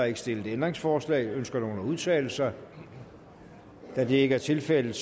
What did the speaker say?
ikke stillet ændringsforslag ønsker nogen at udtale sig da det ikke er tilfældet